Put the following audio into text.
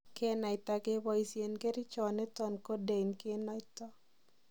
Kenaita keboisien kerichoniton Codeine kenoto.